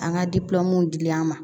An ka dilen an ma